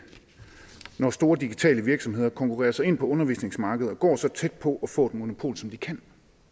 når store digitale virksomheder konkurrerer sig ind på undervisningsmarkedet og går så tæt på at få et monopol som de kan